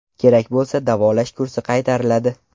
Kerak bo‘lsa davolash kursi qaytariladi.